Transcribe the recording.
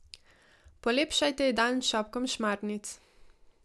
Polepšajte ji dan s šopkom šmarnic.